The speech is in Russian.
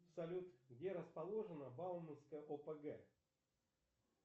салют где расположена бауманская опг